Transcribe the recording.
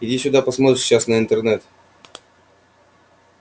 иди сюда посмотришь сейчас на интернет